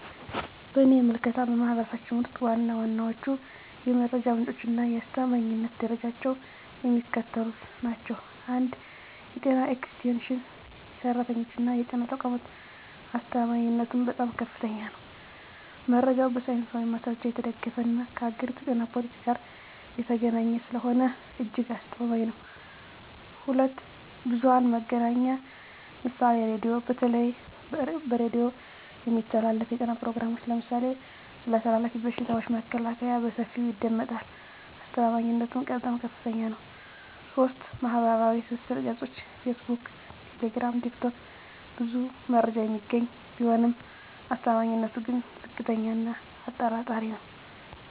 በእኔ ምልከታ፣ በማኅበረሰባችን ውስጥ ዋና ዋናዎቹ የመረጃ ምንጮችና የአስተማማኝነት ደረጃቸው የሚከተሉት ናቸው፦ 1. የጤና ኤክስቴንሽን ሠራተኞችና የጤና ተቋማት አስተማማኝነቱም በጣም ከፍተኛ ነው። መረጃው በሳይንሳዊ ማስረጃ የተደገፈና ከአገሪቱ የጤና ፖሊሲ ጋር የተገናኘ ስለሆነ እጅግ አስተማማኝ ነው። 2. ብዙኃን መገናኛ ምሳሌ ራዲዮ:- በተለይ በሬዲዮ የሚተላለፉ የጤና ፕሮግራሞች (ለምሳሌ ስለ ተላላፊ በሽታዎች መከላከያ) በሰፊው ይደመጣሉ። አስተማማኝነቱም በጣም ከፍታኛ ነው። 3. ማኅበራዊ ትስስር ገጾች (ፌስቡክ፣ ቴሌግራም፣ ቲክቶክ) ብዙ መረጃ የሚገኝ ቢሆንም አስተማማኝነቱ ግን ዝቅተኛ እና አጠራጣሪ ነው።